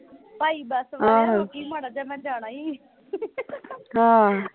ਭਾਈ bus ਵਾਲਿਆਂ ਰੁਕੀ ਮਾੜਾ ਜਾ ਜਿਹਾ ਮੈਂ ਜਾਣਾ ਈ